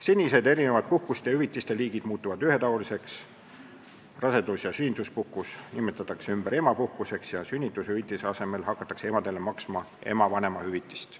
Senised erinevad puhkuste ja hüvitiste liigid muutuvad ühetaoliseks, rasedus- ja sünnituspuhkus nimetatakse ümber emapuhkuseks ja sünnitushüvitise asemel hakatakse emadele maksma ema vanemahüvitist.